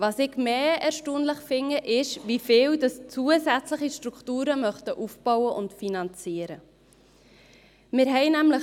Was ich erstaunlicher finde ist, wie viele zusätzliche Strukturen aufbauen und finanzieren möchten.